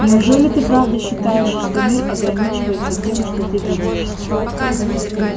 неужели ты правда считаешь что мир ограничивается тем что ты видишь